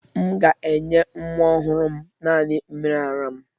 M ga-enye nwa m ọhụrụ naani mmiri ara m